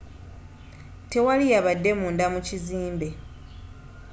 tewali yabadde munda mu kizimbe